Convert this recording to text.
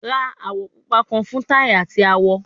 Ra awọ pupa kan fun tai ati awọ